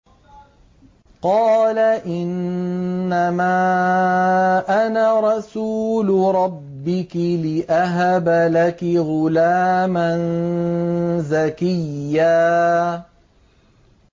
قَالَ إِنَّمَا أَنَا رَسُولُ رَبِّكِ لِأَهَبَ لَكِ غُلَامًا زَكِيًّا